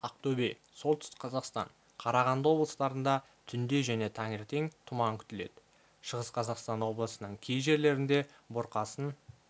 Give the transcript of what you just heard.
ақтөбе солтүстік қазақстан қарағанды облыстарында түнде және таңертең тұман күтіледі шығыс қазақстан облысының кей жерлерінде бұрқасын